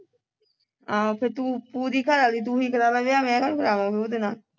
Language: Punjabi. ਆਹੋ ਫੇਰ ਤੂੰ ਪੂਰੀ ਘਰਵਾਲੀ ਤੂੰ ਹੀ ਕਰਾਲਾ ਵਿਆਹ ਮੈਂ ਕਾਹਨੂੰ ਕਰਵਾਵਾਂ ਫੇਰ ਉਹਦੇ ਨਾਲ